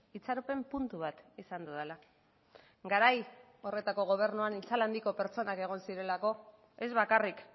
itxaropen puntu bat izan dudala garai horretako gobernuan itzal handiko pertsonak egon zirelako ez bakarrik